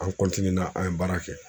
An an ye baara kɛ.